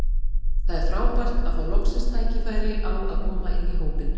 Það er frábært að fá loksins tækifæri á að koma inn í hópinn.